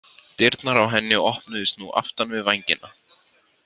Dyrnar á henni opnuðust nú aftan við vængina.